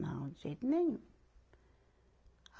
Não, de jeito nenhum.